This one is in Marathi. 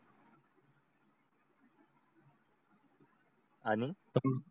आणि